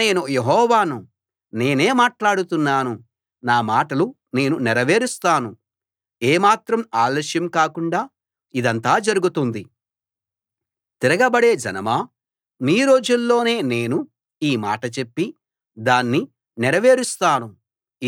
నేను యెహోవాను నేనే మాట్లాడుతున్నాను నా మాటలు నేను నెరవేరుస్తాను ఏమాత్రం ఆలస్యం కాకుండా ఇదంతా జరుగుతుంది తిరగబడే జనమా మీ రోజుల్లోనే నేను ఈ మాట చెప్పి దాన్ని నెరవేరుస్తాను